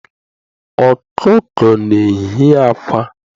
Okuko na ehi akwa